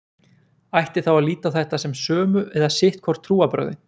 ætti þá að líta á þetta sem sömu eða sitt hvor trúarbrögðin